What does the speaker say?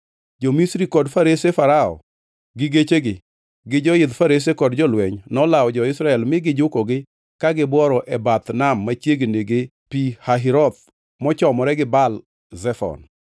Jo-Misri kod farese Farao gi gechegi, gi joidh farese kod jolweny nolawo jo-Israel mi gijukogi ka gibworo e bath nam machiegni gi Pi Hahiroth mochomore gi Baal Zefon.